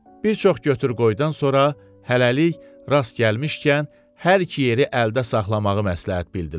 Bir çox götür-qoydan sonra hələlik rast gəlmişkən hər iki yeri əldə saxlamağı məsləhət bildilər.